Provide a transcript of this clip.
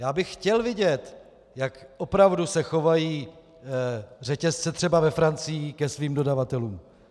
Já bych chtěl vidět, jak opravdu se chovají řetězce třeba ve Francii ke svým dodavatelům.